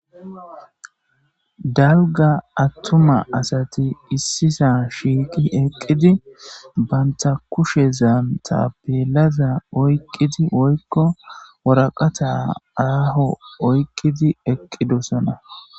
dalga attuma asati issisa shiiqi eqqidi banta kushe zaanta peelaza oyqqidi woykko woraqata aaho oyqqidi eqqidosona